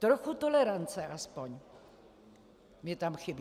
Trochu tolerance aspoň mi tam chybí.